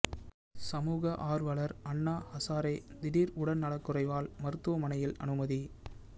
சமூக ஆர்வலர் அன்னா ஹசாரே திடீர் உடல் நலக் குறைவால் மருத்துவமனையில் அனுமதி